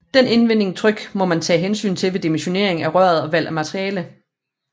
Det indvendige tryk må man tage hensyn til ved dimensionering af røret og valg af materiale